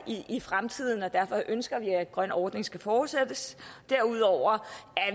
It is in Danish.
i fremtiden derfor ønsker vi at den grønne ordning skal fortsættes derudover er